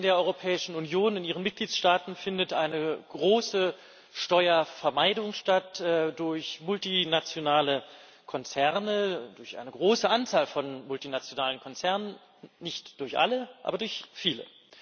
Wir wissen alle, in der Europäischen Union, in ihren Mitgliedstaaten findet eine große Steuervermeidung statt durch multinationale Konzerne, durch eine große Anzahl von multinationalen Konzernen nicht durch alle, aber durch viele.